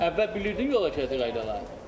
Əvvəl bilirdin yol hərəkəti qaydaları?